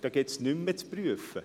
Da gibt es nichts mehr zu prüfen.